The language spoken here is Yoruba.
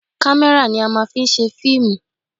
Kámẹ́rà ni a máa ń fi ń ṣe fíìmù